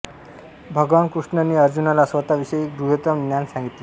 भगवान कृष्णा ने अर्जुनाला स्वतःविषयी गुह्यतम ज्ञान सांगितले